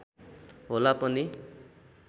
होला पनि